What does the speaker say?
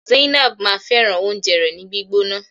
Zainab máa fẹràn oúnjẹ rẹ ni gbígbóná.